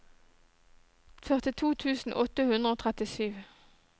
førtito tusen åtte hundre og trettisju